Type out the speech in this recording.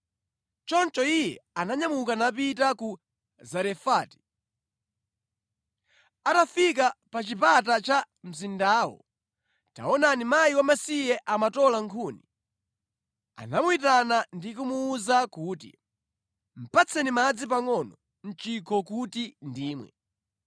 Choncho iye ananyamuka napita ku Zarefati. Atafika pa chipata cha mzindawo, taonani mkazi wamasiye amatola nkhuni. Anamuyitana ndi kumuwuza kuti, “Patseni madzi pangʼono mʼchikho kuti ndimwe.”